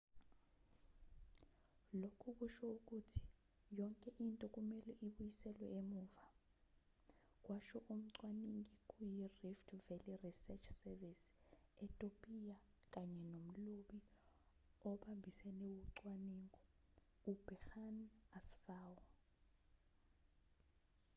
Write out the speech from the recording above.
lokhu kusho ukuthi yonke into kumelwe ibuyiselwe emuva kwasho umcwaningi kuyirift valley research service etopiya kanye nomlobi obambisene wocwaningo uberhane asfaw